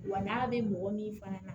Wa n'a bɛ mɔgɔ min fana na